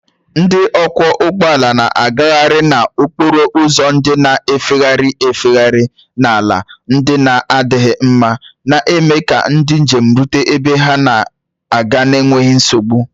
Ndị ọkwọ ụgbọ ala na-agagharị n'okporo ụzọ ndị na-efegharị efegharị na ala ndị na-adịghị mma, na-eme ka ndị njem rute ebe ha na-aga n'enweghị nsogbu.